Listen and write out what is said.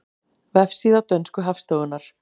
Vefsíða dönsku hagstofunnar